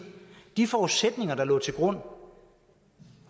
de forudsætninger som lå til grund